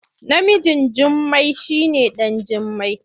Namijn Jummai shi ne ɗan Jimmai.